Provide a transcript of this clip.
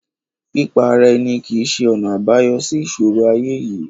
Pípa ara ẹni kìí ṣe ọ̀nà àbáyọ sí ìṣòro ayé yìí.